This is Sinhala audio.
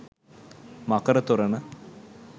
මකර තොරණ